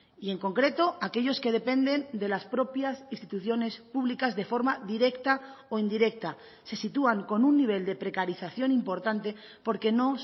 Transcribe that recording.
y en concreto aquellos que dependen de las propias instituciones públicas de forma directa o indirecta se sitúan con un nivel de precarización importante porque no